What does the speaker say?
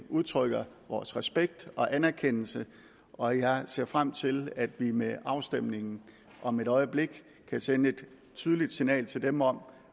udtrykker vores respekt og anerkendelse og jeg ser frem til at vi med afstemningen om et øjeblik kan sende et tydeligt signal til dem om